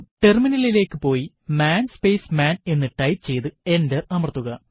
ടെർമിനലിലേക്ക് പോയി man space man എന്ന് ടൈപ്പ് ചെയ്യ്തു എന്റർ അമർത്തുക